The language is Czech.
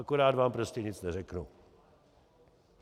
Akorát vám prostě nic neřeknu.